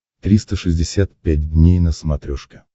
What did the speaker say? триста шестьдесят пять дней на смотрешке